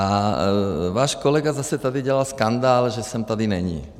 - A váš kolega zase tady dělal skandál, že jsem tady neni.